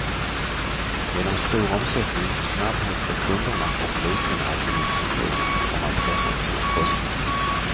Genom stor omsättning, snabbhet för kunderna och liten administration har man pressat sina kostnader.